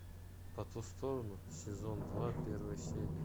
по ту сторону сезон два первая серия